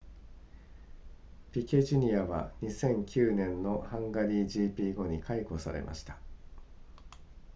ピケ jr. は2009年のハンガリー gp 後に解雇されました